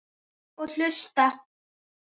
Og hlusta.